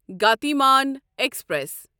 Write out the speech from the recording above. Gatimaan express